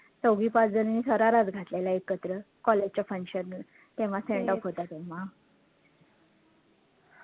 चौघी पाच जणींनी शराराचं घातलेला एकत्र college च्या function तेव्हा sendoff होता तेव्हा